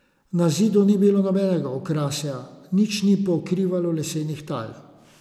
Na zidu ni bilo nobenega okrasja, nič ni pokrivalo lesenih tal.